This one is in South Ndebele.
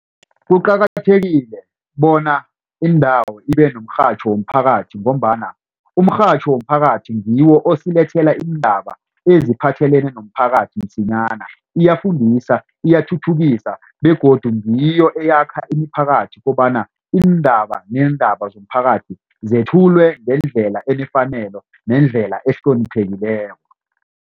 Kuqakathekile bona indawo ibe nomrhatjho womphakathi ngombana umrhatjho womphakathi ngiwo osilethela iindaba eziphathelene nomphakathi msinyana iyafundisa iyathuthukisa begodu ngiyo eyakha imiphakathi kobana iindaba neendaba zomphakathi zethulwe ngendlela enefanele nendlela ehloniphekileko.